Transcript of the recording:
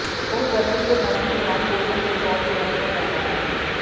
ਉਹ ਗਰਮੀ ਦੇ ਮੌਸਮ ਦੌਰਾਨ ਭੋਜਨ ਦੇ ਤੌਰ ਤੇ ਵਰਤਿਆ ਜਾਦਾ ਹੈ